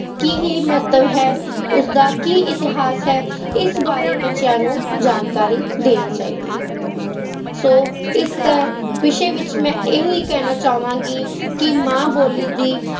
ਕੀ ਮਹੱਤਵ ਹੈ, ਉਸਦਾ ਕੀ ਇਤਿਹਾਸ ਹੈ, ਇਸ ਬਾਰੇ ਬੱਚਿਆਂ ਨੂੰ ਜਾਣਕਾਰੀ ਦੇਣੀ ਚਾਹੀਦੀ ਹੈ, ਸੋ ਇਸ ਤਾਂ ਵਿਸ਼ੇ ਵਿੱਚ ਮੈਂ ਇਹੀ ਕਹਿਣਾ ਚਾਹਾਂਗੀ ਕਿ ਮਾਂ ਬੋਲੀ ਦੀ